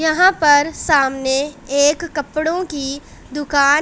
यहां पर सामने एक कपड़ों की दुकान--